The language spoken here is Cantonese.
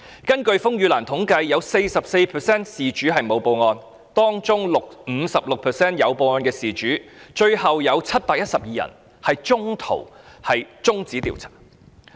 根據風雨蘭的統計，有 44% 事主沒有報案，當中 56% 有報案的事主，最後有712宗中途中止調查。